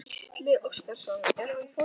Gísli Óskarsson: Er hann forvitinn?